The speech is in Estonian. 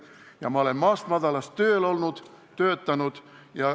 " Ja ma olen maast madalast töötanud.